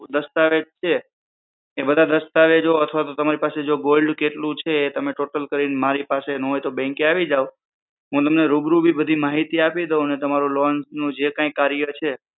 દસ્તાવેજ છે કે બધા દસ્તાવેજો અથવા તમારી પાસે gold કે કેટલું છે એ ટોટલ કરીને મારી પાસે ના હોય તો bank એ આવી જાઓ હું તમને રૂબરૂ પણ બધી માહિતી આપી દઉં અને તમારા loan નું જે કઈ કાર્ય છે